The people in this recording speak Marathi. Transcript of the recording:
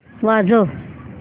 वाजव